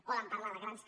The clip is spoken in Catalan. poden parlar de grans